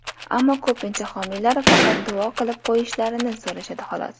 Ammo ko‘pincha homiylar faqat duo qilib qo‘yishlarini so‘rashadi, xolos”.